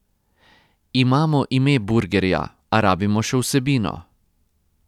Imamo ime burgerja, a rabimo še vsebino ...